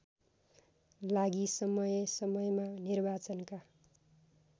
लागि समयसमयमा निर्वाचनका